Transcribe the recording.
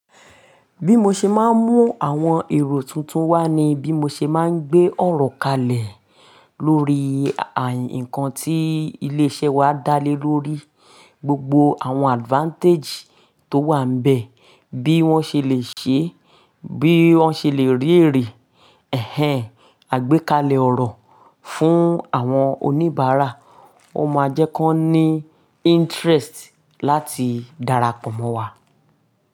Bí mo ṣe máa ń mú àwọn èrò tuntun wá ni bí mo ṣe máa ń gbé ọ̀rọ̀ kalẹ̀ lórí àyan ńkan tí ilé iṣẹ́ wa dá lé lórí, gbogbo àwọn advantage tó wà níbẹ̀, bí wọ́n ṣe lè ṣe, bí wọ́n ṣe lè rí ere. Ẹ̀hẹn, àgbékalẹ̀ ọ̀rọ̀ fún àwọn oníbàárà. Wọ́n máa jẹ́ kí wọ́n ní interest láti darapọ̀ mọ́ wa.